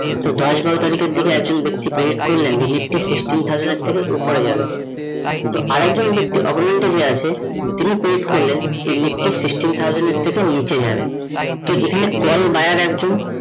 সে দশ বারো তারিখের এক জন ব্যাক্তি predict করলেন যে nifty sixteen thousand থেকে ওপরে যাবে, তো আর একজন ব্যক্তি হয়ে আসে তিনি predict করলেন nifty sixteen thousand থেকে নিচে যাবে, তো এখানে call buyer একজন